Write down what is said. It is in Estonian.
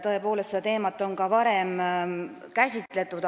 Tõepoolest, seda teemat on ka varem käsitletud.